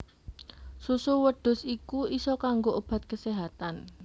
Susu wedhus iku isa kanggo obat keséhatan